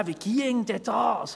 Wie ginge denn das?